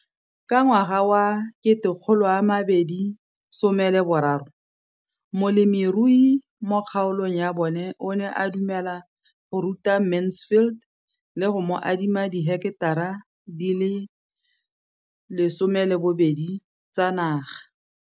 Ka ngwaga wa 2013, molemirui mo kgaolong ya bona o ne a dumela go ruta Mansfield le go mo adima di heketara di le 12 tsa naga.